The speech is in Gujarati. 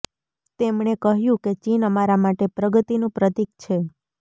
તેમણે કહ્યું કે ચીન અમારા માટે પ્રગતિનું પ્રતિક છે